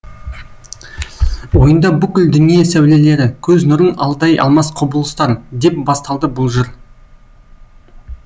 ойында бүкіл дүние сәулелері көз нұрын алдай алмас құбылыстар деп басталды бұл жыр